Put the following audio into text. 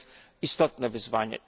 To jest istotne wyzwanie.